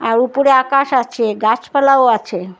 আর উপরে আকাশ আছে গাছপালাও আছে।